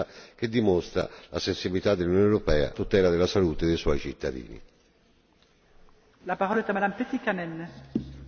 Un voto quindi quello di oggi di estrema importanza che dimostra la sensibilità dell'Unione europea alla tutela della salute dei suoi cittadini.